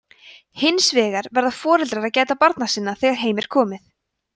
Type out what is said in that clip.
hins vegar verða foreldrar að gæta barna sinna þegar heim er komið